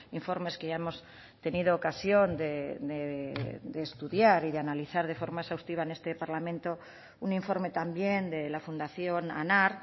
informes que ya hemos tenido ocasión de estudiar y de analizar de forma exhaustiva en este parlamento un informe también de la fundación anar